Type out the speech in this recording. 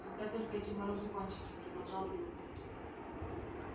когда только эти морозы кончатся продолжал билл